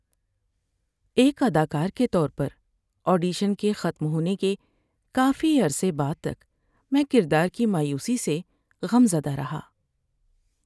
‏ایک اداکار کے طور پر، آڈیشن کے ختم ہونے کے کافی عرصے بعد تک میں کردار کی مایوسی سے غم زدہ رہا۔